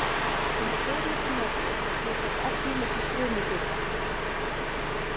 Um frymisnetið flytjast efni milli frumuhluta.